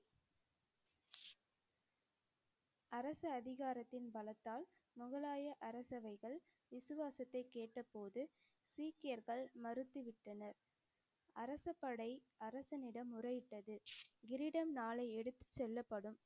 அரசு அதிகாரத்தின் பலத்தால் முகலாய அரசவைகள் விசுவாசத்தை கேட்டபோது சீக்கியர்கள் மறுத்து விட்டனர். அரசப்படை அரசனிடம் முறையிட்டது. கிரீடம் நாளை எடுத்துச் செல்லப்படும்,